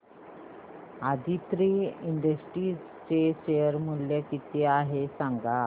Aditri industries चे share मूल्य किती आहे सांगा